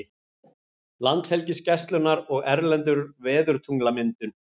Landhelgisgæslunnar og erlendum veðurtunglamyndum.